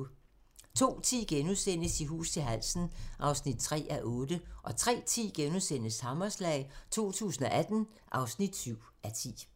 02:10: I hus til halsen (3:8)* 03:10: Hammerslag 2018 (7:10)*